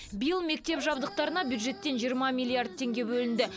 биыл мектеп жабдықтарына бюджеттен жиырма миллиард теңге бөлінді